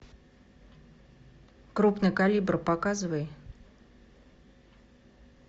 крупный калибр показывай